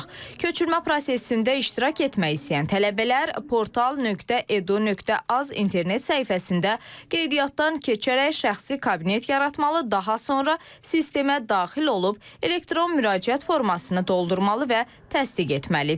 Köçürmə prosesində iştirak etmək istəyən tələbələr portal.edu.az internet səhifəsində qeydiyyatdan keçərək şəxsi kabinet yaratmalı, daha sonra sistemə daxil olub elektron müraciət formasını doldurmalı və təsdiq etməlidir.